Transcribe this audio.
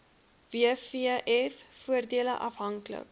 wvf voordele afhanklik